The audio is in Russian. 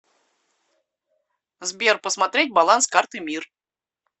сбер посмотреть баланс карты мир